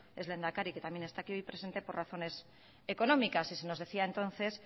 ex lehendakari que también está aquí presente por razones económicas y se nos decía entonces